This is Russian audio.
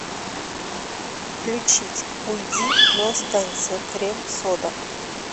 включить уйди но останься крем сода